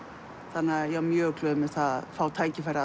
þannig að ég var mjög glöð að fá tækifæri